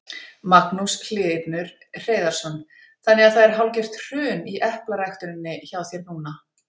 Magnús Hlynur Hreiðarsson: Þannig að það er hálfgert hrun í eplaræktuninni hjá þér núna?